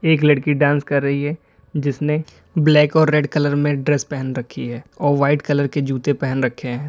एक लड़की डांस कर रही है जिसने ब्लैक और रेड कलर में ड्रेस पहन रखी है और वाइट कलर के जूते पहन रखे हैं।